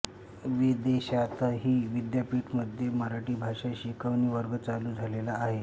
विदेशातही विद्यापीठामध्ये मराठी भाषा शिकवणी वर्ग चालू झालेले आहे